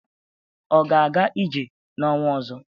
Ọ ga-aga ije n'ọnwa ọzọ?